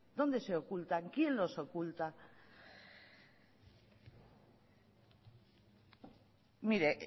dónde se ocultan quién los oculta mire